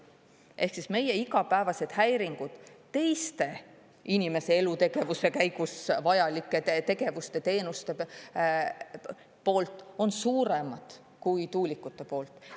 Ehk meie igapäevased häiringud teiste inimese elutegevuse käigus vajalike tegevuste ja teenuste poolt on suuremad kui tuulikute poolt.